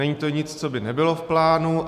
Není to nic, co by nebylo v plánu.